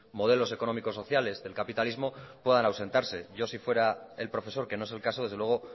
modelos económicos sociales del capitalismo puedan ausentarse yo si fuera el profesor que no es el caso desde luego